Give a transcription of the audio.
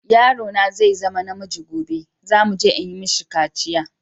Yaro na zai zama na miji gobe, za mu je yi mishi kaciya.